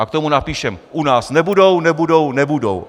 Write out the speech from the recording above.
A k tomu napíšeme: U nás nebudou, nebudou, nebudou.